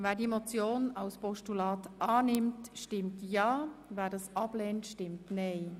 Wer den Vorstoss als Postulat annimmt, stimmt ja, wer dies ablehnt, stimmt nein.